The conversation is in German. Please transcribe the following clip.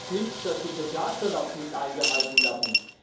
Und das heißt nicht, dass die Sozialstandards nicht eingehalten werden.